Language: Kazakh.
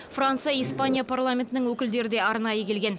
франция испания парламентінің өкілдері де арнайы келген